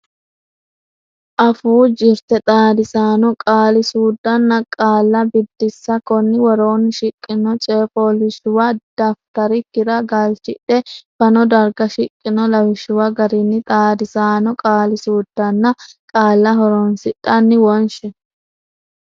Afuu Jirte Xaadisaano Qaali suuddanna Qaalla Biddissa Konni woroonni shiqqino coy fooliishshuwa dafitarikkira galchidhe fano darga shiqqino lawishshuwa garinni xaadisaano qaali suuddanna qaalla horonsidhanni wonshi.